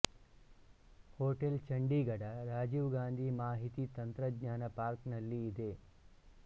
hotel Chandigarh Rajiv Gandhi ಮಾಹಿತಿ ತಂತ್ರಜ್ಞಾನ park ನಲ್ಲಿ ಇದೆ